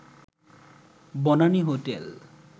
Banani hotel